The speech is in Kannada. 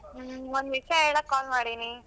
ಹು ಒಂದ್ ವಿಷ್ಯ ಹೇಳಕ್ call ಮಾಡಿನಿ.